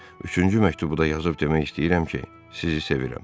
Üçüncü məktubu da yazıb demək istəyirəm ki, sizi sevirəm.